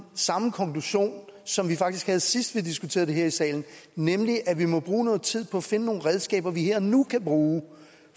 samme konklusion som vi faktisk havde sidst vi diskuterede det her i salen nemlig at vi må bruge noget tid på at finde nogle redskaber vi her og nu kan bruge